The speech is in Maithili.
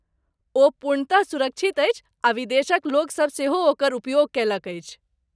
ओ पूर्णतः सुरक्षित अछि आ विदेशक लोकसभ सेहो ओकर उपयोग कयलक अछि।